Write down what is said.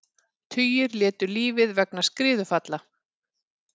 Tugir létu lífið vegna skriðufalla